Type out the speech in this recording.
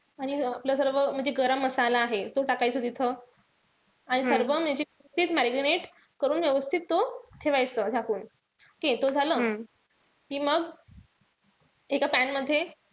आणि आपलं सर्व म्हणजे गरम मसाला आहे. तो टाकायचा तिथं. आणि सर्व म्हणजे ते marinate करून व्यवस्थित तो ठेवायचं झाकून. okay तो झालं कि मग एका pan मध्ये,